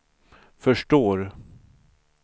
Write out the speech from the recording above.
förstår